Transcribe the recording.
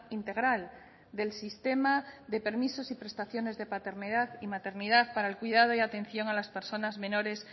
integral del sistema de permisos y prestaciones de paternidad y maternidad para el cuidado y atención a las personas menores